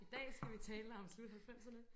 I dag skal vi tale om slut halvfemserne